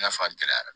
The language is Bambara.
I n'a fɔ a gɛlɛyara